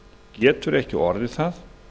getur ekki orðið það